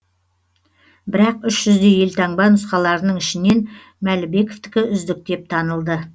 бірақ үш жүздей елтаңба нұсқаларының ішінен мәлібековтікі үздік деп танылды